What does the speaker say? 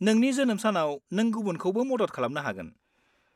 नोंनि जोनोम सानाव नों गुबुनखौबो मदद खालामनो हागोन।